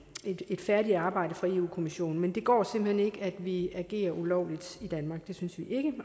et færdigt arbejde fra europa kommissionen men det går simpelt hen ikke at vi agerer ulovligt i danmark det synes vi ikke